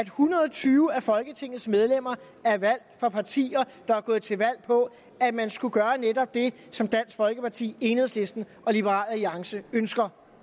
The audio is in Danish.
hundrede og tyve af folketingets medlemmer er valgt fra partier der er gået til valg på at man skulle gøre netop det som dansk folkeparti enhedslisten og liberal alliance ønsker